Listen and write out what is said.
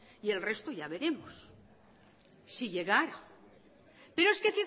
y el resto ya veremos si llegara pero es que